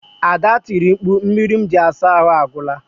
Ada tiri mkpu, mmiri m ji asa ahụ agwụla